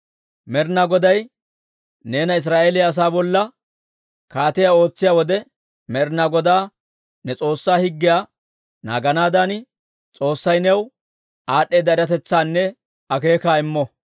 Med'inaa Goday neena Israa'eeliyaa asaa bolla kaatiyaa ootsiyaa wode, Med'inaa Godaa ne S'oossaa higgiyaa naaganaadan, S'oossay new aad'd'eeda eratetsaanne akeekaa immo.